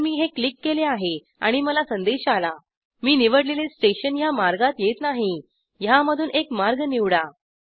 तर मी हे क्लिक केले आहे आणि मला संदेश आला मी निवडलेले स्टेशन ह्या मार्गात येत नाही ह्यामधून एक मार्ग निवडा